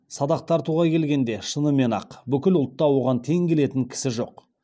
садақ тартуға келгенде шынымен ақ бүкіл ұлтта оған тең келетін кісі жоқ